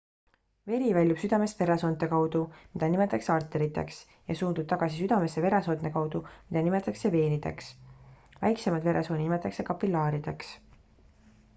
veri väljub südamest veresoonte kaudu mida nimetatakse arteriteks ja suundub tagasi südamesse veresoonte kaudu mida nimetatakse veenideks väikseimaid veresooni nimetatakse kapillaarideks